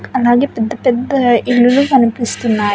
అలాగే పెద్ద పెద్ద ఇల్లులు కనిపిస్తున్నాయి.